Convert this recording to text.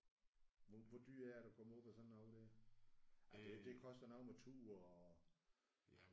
Hvor hvor dyrt er det at komme op på sådan noget der? Det det koster noget med tur og